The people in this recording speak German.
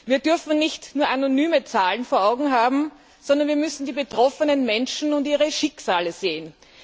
Wir dürfen nicht nur anonyme Zahlen vor Augen haben, sondern wir müssen die betroffenen Menschen und ihre Schicksale sehen.